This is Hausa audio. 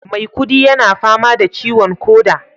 maikudi yana fama da ciwon koda